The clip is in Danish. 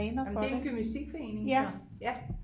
Er det er gymnastikforening så ja